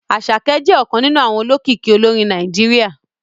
Àṣàkẹ́ jẹ́ ọ̀kan nínú àwọn olókìkí olórin Nàìjíríà